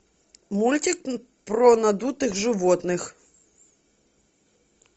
мультик про надутых животных